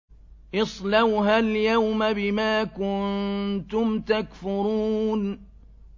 اصْلَوْهَا الْيَوْمَ بِمَا كُنتُمْ تَكْفُرُونَ